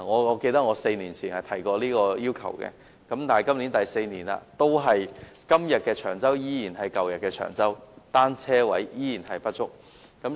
我記得我在4年前曾提出這要求，但4年已過去，今日的長洲依然是舊日的長洲，單車泊位依然不足。